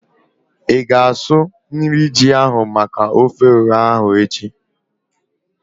Ịga asụ nri ji ahu maka ofe ọha ahu echi?